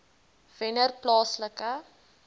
wennerplaaslike